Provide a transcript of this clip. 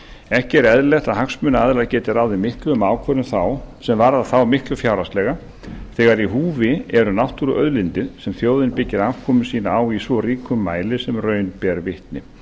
ekki er eðlilegt að hagsmunaaðilar geti ráðið miklu um ákvörðun sem þá varðar miklu fjárhagslega þegar í húfi eru náttúruauðlindir sem þjóðin byggir afkomu sína á í svo ríkum mæli sem raun ber vitni